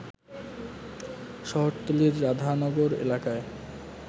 শহরতলীর রাধানগর এলাকায়